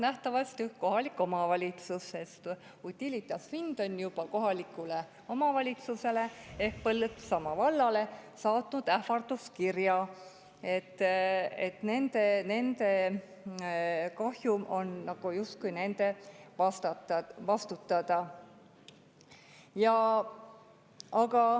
Nähtavasti kohalik omavalitsus, sest Utilitas Wind on juba kohalikule omavalitsusele ehk Põltsamaa vallale saatnud ähvarduskirja, et nende nende kahjum on justkui nende vastutada.